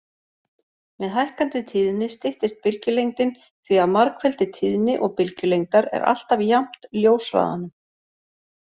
Með hækkandi tíðni styttist bylgjulengdin því að margfeldi tíðni og bylgjulengdar er alltaf jafnt ljóshraðanum.